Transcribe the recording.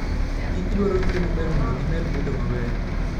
Kich dwaro rito maber mondo gimed bedo maber.